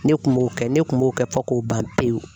Ne kun m'o kɛ ne kun m'o kɛ fo k'o ban pewu.